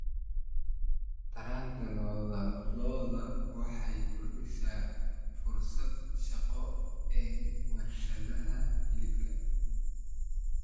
Taranta lo'da lo'da waxay kordhisay fursadaha shaqo ee warshadaha hilibka.